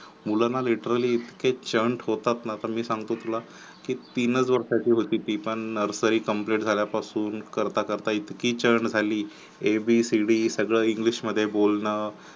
मुलना Literally लइतके चंट होतात ना तर मी सांगतो तुला की तीनच वर्षाची होती ती पण Nursery complete करता करता इतकी चंट जाली एबीसीडी सगळे इंग्लिश मध्ये बोलन